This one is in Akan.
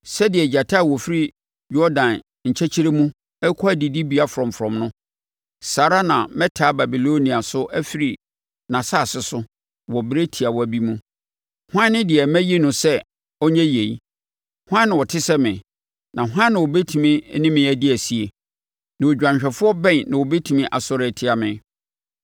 Sɛdeɛ gyata a ɔfiri Yordan nkyɛkyerɛ mu rekɔ adidibea frɔmfrɔm no, saa ara na mɛtaa Babilonia so afiri nʼasase so wɔ ɛberɛ tiawa bi mu. Hwan ne deɛ mayi no sɛ ɔnyɛ yei? Hwan na ɔte sɛ me, na hwan na ɔbɛtumi ne me adi asie? Na odwanhwɛfoɔ bɛn na ɔbɛtumi asɔre atia me?”